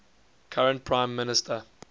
current prime minister